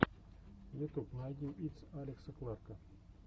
ютуб найди итс алекса кларка